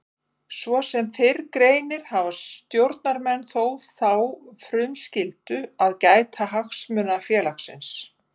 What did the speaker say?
Svo sem fyrr greinir hafa stjórnarmenn þó þá frumskyldu að gæta hagsmuna félagsins.